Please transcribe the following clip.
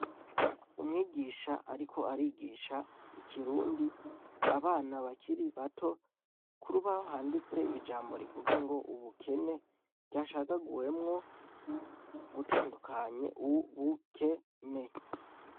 Umwigisha ariko arigisha ikirundi abana bakiri bato, ku rubaho handitse ijambo rivuga ngo ubukene ryacagaguwemwo gutandukanye u-bu-ke-ne.